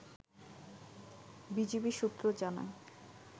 BGB সূত্র জানায়